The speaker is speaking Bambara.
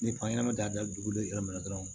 Ni fan ɲɛnɛma da dugukolo ye yɔrɔ min na dɔrɔn